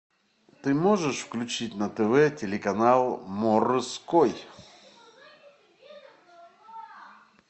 ты можешь включить на тв телеканал морской